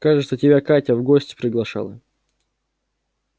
кажется тебя катя в гости приглашала